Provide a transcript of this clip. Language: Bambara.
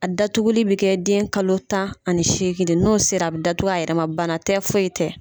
A datuguli bɛ kɛ den kalo tan ani seegin n'o sera a bɛ datugu a yɛrɛ man bana tɛ foyi tɛ.